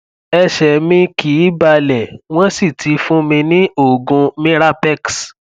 ẹsẹ mi kìí balẹ wọn sì ti fún mi ní oògùn mirapex